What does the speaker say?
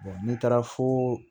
n'i taara fo